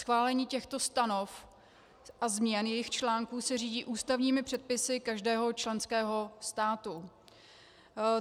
Schválení těchto stanov a změn jejích článků se řídí ústavními předpisy každého členského státu.